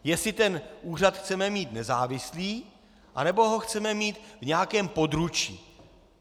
Jestli ten úřad chceme mít nezávislý, anebo ho chceme mít v nějakém područí.